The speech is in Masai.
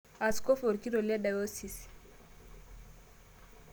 Askofu orkitok le diocese